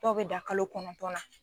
Dɔw bɛ dan kalo kɔnɔntɔn na.